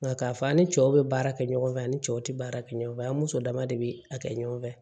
Nka k'a fɔ an ni cɛw bɛ baara kɛ ɲɔgɔn fɛ ani cɛw tɛ baara kɛ ɲɔgɔn fɛ an muso dama de bɛ a kɛ ɲɔgɔn fɛ